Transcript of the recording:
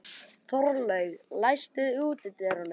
Þorlaug, læstu útidyrunum.